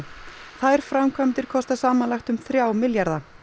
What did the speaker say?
þær framkvæmdir kosta samanlagt um þrjá milljarða